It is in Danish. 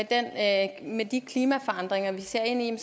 at vi med de klimaforandringer vi ser ind